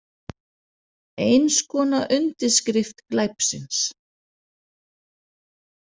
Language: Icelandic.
Eins konar undirskrift glæpsins.